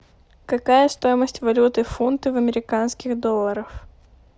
какая стоимость валюты фунты в американских долларах